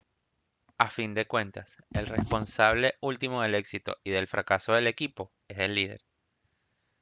a fin de cuentas el responsable último del éxito y del fracaso del equipo es el líder